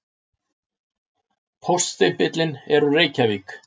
Póststimpillinn er úr Reykjavík.